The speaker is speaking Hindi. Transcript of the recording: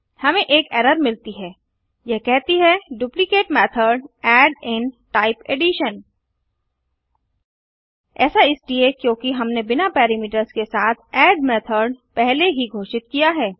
हमें एक एरर मिलती है यह कहती है duplicate method add in type addition ऐसा इसलिए क्योंकि हमने बिना पैरामीटर्स के साथ एड मेथड पहले ही घोषित किया है